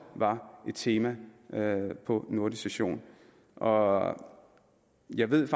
var et tema på nordisk råds session og jeg ved at